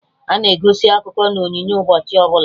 Ana egosi akụkọ na onyonyo ụbọchị ọbụla